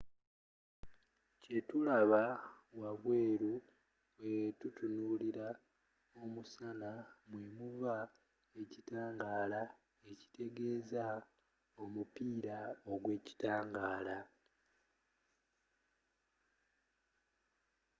kye tulaba wabweeru bwe tutunuulira omusana mwe muva ekitangaala ekitegeeza omupiira ogw’ekitangaala